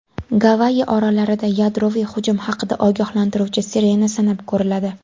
Gavayi orollarida yadroviy hujum haqida ogohlantiruvchi sirena sinab ko‘riladi.